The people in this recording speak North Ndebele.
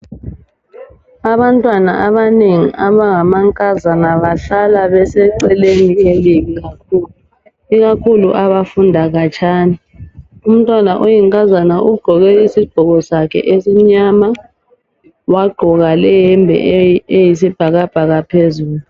Abantwana abanengi abangamankazana bahlala beseceleni elibi ikakhulu abafunda khatshana. Umntwana oyinkazana ugqoke isigqoko sakhe esimnyama wagqoka leyembe eyisibhakabhaka phezulu.